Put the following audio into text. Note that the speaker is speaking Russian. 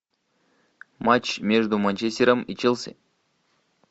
матч между манчестером и челси